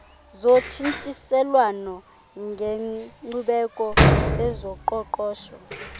zotshintshiselwano ngenkcubeko ezoqoqosho